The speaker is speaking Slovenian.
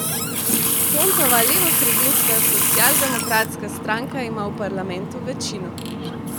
Pontova levosredinska Socialdemokratska stranka ima v parlamentu večino.